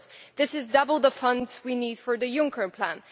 This is double the funds we need for the Juncker plan.